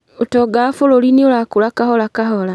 ũtonga wa bũrũri nĩurakũra kahora kahora